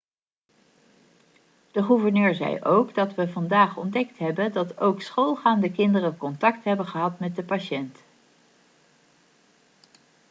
de gouverneur zei ook 'dat we vandaag ontdekt hebben dat ook schoolgaande kinderen contact hebben gehad met de patiënt.'